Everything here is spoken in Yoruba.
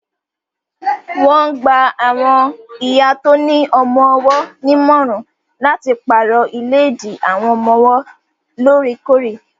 Wọ́n gba awọn ìyá tó ní ọmọ-ọwọ́ nímọ̀ràn láti pàrọ̀ ìléèdí àwọn ọmọ wọ́n loorekore